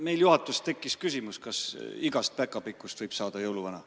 Meil juhatuses tekkis küsimus, kas igast päkapikust võib saada jõuluvana.